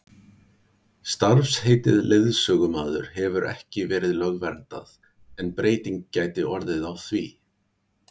starfsheitið leiðsögumaður hefur ekki verið lögverndað en breyting gæti orðið á því